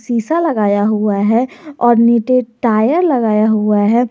शीशा लगाया हुआ है और नीचे टायर लगाया हुआ है।